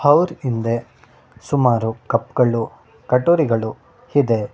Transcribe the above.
ಅವ್ರ್ ಹಿಂದೆ ಸುಮಾರು ಕಪ್ ಗಳು ಕಟೋರಿಗಳು ಇದೆ.